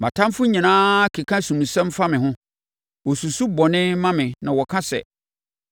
Mʼatamfoɔ nyinaa keka asomusɛm fa me ho; wɔsusu bɔne ma me na wɔka sɛ: